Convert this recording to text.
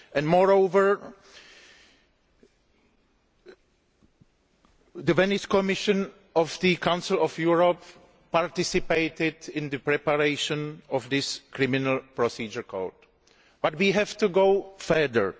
Moreover, the Venice Commission of the Council of Europe participated in the preparation of this Criminal Procedure Code but we have to go further.